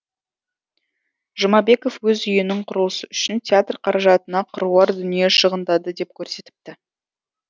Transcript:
жұмабеков өз үйінің құрылысы үшін театр қаражатына қыруар дүние шығындады деп көрсетіпті